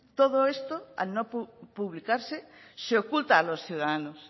todo esto al no publicarse se oculta a los ciudadanos